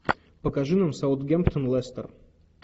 покажи нам саутгемптон лестер